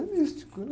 É místico, né?